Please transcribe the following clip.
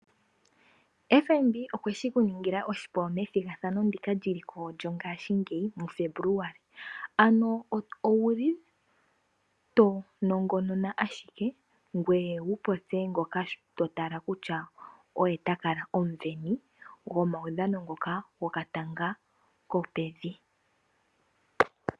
FNB okweshi ku ningila oshipu methigathano ndika lyiliko lyongashingeyi muFebuluali, ano owuli to nongonona ashike ngoye wupopye ngoka to tala kutya oye omusindani gomaudhano ngoka goka tanga kopevi.